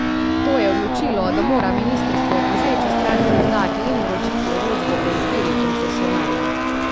To je odločilo, da mora ministrstvo tožeči stranki izdati in vročiti odločbo o izbiri koncesionarja.